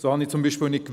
So wusste ich zum Beispiel nicht,